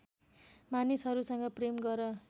मानिसहरूसँग प्रेम गर